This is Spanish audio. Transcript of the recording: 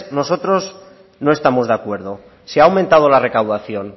nosotros no estamos de acuerdo si ha aumentado la recaudación